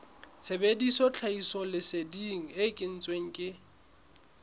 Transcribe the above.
sebedisa tlhahisoleseding e kentsweng ke